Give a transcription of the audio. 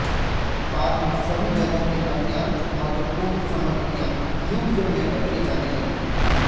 बाद में सभी जगह की अत्यंत महत्वपूर्ण सामग्रियाँ लूव्र में रखी जाने लगीं